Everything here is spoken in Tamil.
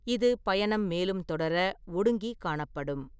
இது பயணம் மேலும் தொடர, ஒடுங்கி காணப்படும்.